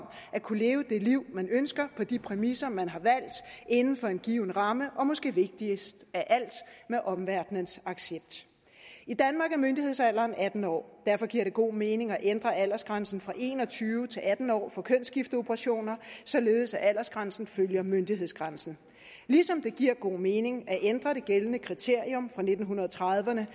at kunne leve det liv man ønsker på de præmisser man har valgt inden for en given ramme og måske vigtigst af alt med omverdenens accept i danmark er myndighedsalderen atten år derfor giver det god mening at ændre aldersgrænsen fra en og tyve til atten år for kønsskifteoperationer således at aldersgrænsen følger myndighedsgrænsen ligesom det giver god mening at ændre det gældende kriterium fra nitten trediverne